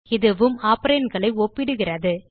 இதுவும் operandகளை ஒப்பிடுகிறது